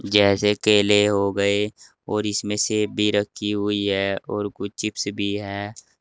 जैसे केले हो गए और इसमें सेब भी रखी हुई है और कुछ चिप्स भी है।